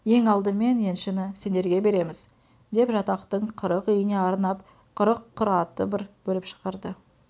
ең алдымен еншіні сендерге береміз деп жатақтың қырық үйіне арнап қырық құр аты бір бөліп шығарды